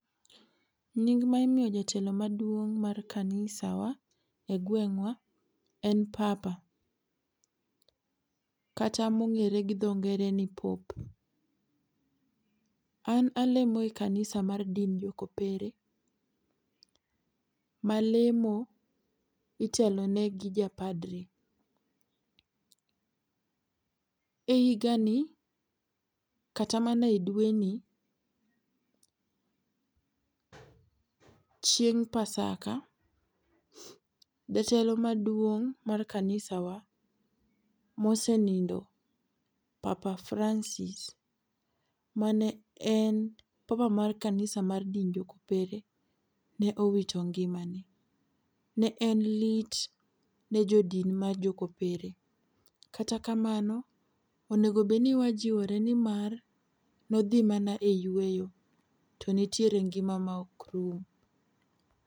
Nying ma imiyo jotelo maduong' mar kanisa wa gweng’wa en papa kata ma ong'e gi dho ngere ni pope. An alemo e kanisa mar dind mar jo kopere ma lemo itelo ne gi ja padri. E higa ni ,kata mana e dweni, chieng pasaka jatelo maduong' mar kanisa wa ma osenindo papa Francis ma ne en papa mar kanisa mar din mar jo kopere ne owito ngima ne. Ne en lit ne jo din mar jo kopere. Kata kamano onego bed ni wajiore ni mar ne odhi mana e yweyo to nitiee ngima ma ok rum..